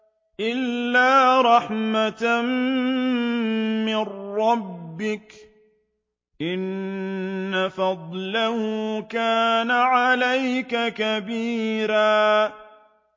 إِلَّا رَحْمَةً مِّن رَّبِّكَ ۚ إِنَّ فَضْلَهُ كَانَ عَلَيْكَ كَبِيرًا